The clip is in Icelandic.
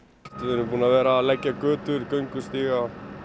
við erum búnir að vera að leggja götur göngustíga